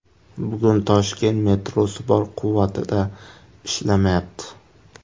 Bugun Toshkent metrosi bor quvvatida ishlamayapti.